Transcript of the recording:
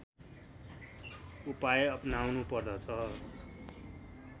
उपाय अपनाउनु पर्दछ